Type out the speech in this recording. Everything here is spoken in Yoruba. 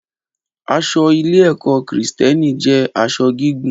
Aṣọ ilé-ẹ̀kọ́ Kristẹni jẹ́ aṣọ gígùn.